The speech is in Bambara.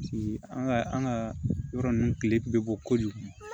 an ka an ka yɔrɔ ninnu kile bɛ bɔ kojugu